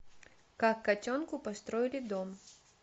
как котенку построили дом